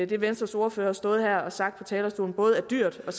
det venstres ordfører har stået her og sagt på talerstolen både er dyrt og